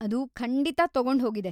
ಅದು ಖಂಡಿತಾ ತಗೊಂಡ್ಹೋಗಿದೆ.